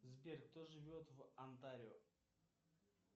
сбер кто живет в онтарио